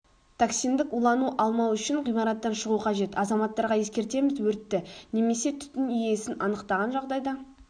токсиндік улану алмау үшін ғимараттан шығу қажет азаматтарға ескертеміз өртті немесе түтін иісін анықтаған жағдайда